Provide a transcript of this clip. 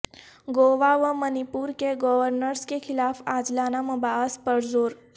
گوا و منی پور کے گورنرس کے خلاف عاجلانہ مباحث پر زور